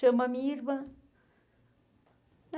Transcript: Chama a minha irmã.